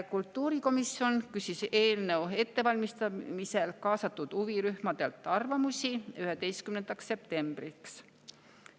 Kultuurikomisjon küsis eelnõu ettevalmistamisel kaasatud huvirühmadelt arvamusi 11. septembriks.